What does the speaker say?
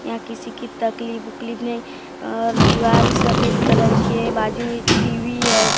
यह किसी की तकलीफ बकलीफ नहीं और दीवाल सफेद कलर की है बाजू मे टीवी है।